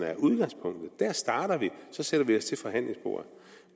er udgangspunktet og der starter vi og så sætter vi os ved forhandlingsbordet